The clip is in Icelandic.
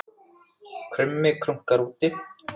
Krummi krunkar úti